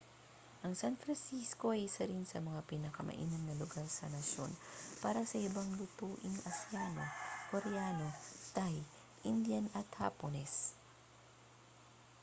ang san francisco ay isa rin sa mga pinakamainam na lugar sa nasyon para sa ibang lutuing asyano koreano thai indian at hapones